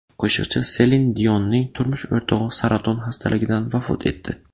Qo‘shiqchi Selin Dionning turmush o‘rtog‘i saraton xastaligidan vafot etdi.